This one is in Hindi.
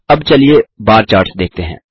अब चलिए बार चार्ट्स देखते हैं